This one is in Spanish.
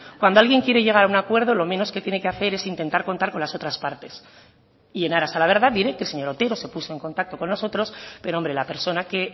cuando alguien quiere llegar a un acuerdo lo menos que tiene que hacer es intentar contar con las otras partes y en aras a la verdad diré que el señor otero se puso en contacto con nosotros pero hombre la persona que